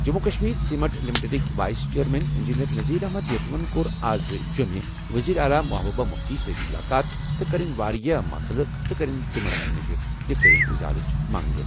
جموں و کشمیر سیمنٹ لمیٹڈٕکۍ vice chairman engineer Nazir Ahmad یِتوَن کوٚر اَز جوٚمہِ منٛز وزیر اعلیٰ محبوبہ مُفتیَس سۭتۍ مُلاقات تہٕ کٔرٕنۍ واریاہ مسلہٕ تہٕ کٔرٕنۍ تٔمن نِش تہٕ کٔرٕن ازالٕچ منٛگ۔